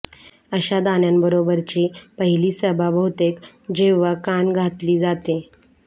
अशा दाण्यांबरोबरची पहिली सभा बहुतेक जेव्हा कान घातली जाते